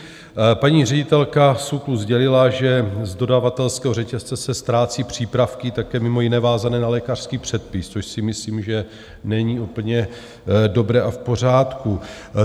Paní ředitelka SÚKLu sdělila, že z dodavatelského řetězce se ztrácí přípravky také mimo jiné vázané na lékařský předpis, což si myslím, že není úplně dobré a v pořádku.